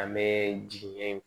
An bɛ jigi ye